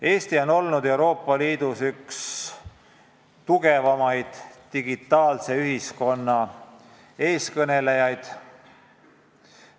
Eesti on olnud Euroopa Liidus üks tugevamaid digitaalse ühiskonna eestkõnelejaid.